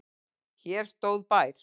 Hér stóð bær.